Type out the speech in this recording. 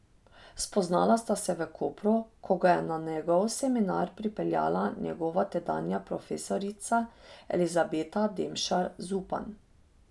Spoznala sta se v Kopru, ko ga je na njegov seminar pripeljala njegova tedanja profesorica Elizabeta Demšar Zupan.